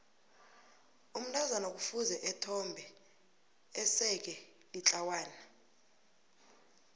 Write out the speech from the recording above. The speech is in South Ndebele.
umntazana kufuze ethombe eseke litlawana